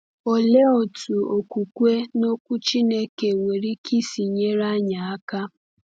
Olee otu okwukwe n’Okwu Chineke nwere ike isi nyere anyị aka?